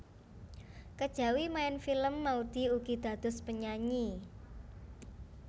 Kejawi maèn film Maudy ugi dados penyanyi